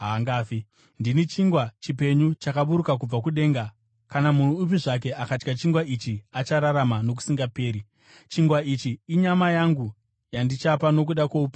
Ndini chingwa chipenyu chakaburuka kubva kudenga. Kana munhu upi zvake akadya chingwa ichi, achararama nokusingaperi. Chingwa ichi inyama yangu, yandichapa nokuda kwoupenyu hwenyika.”